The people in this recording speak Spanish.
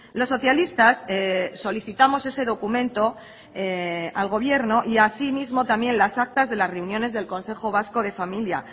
los socialistas solicitamos ese documento al gobierno y asimismo también las actas de las reuniones del consejo vasco de familia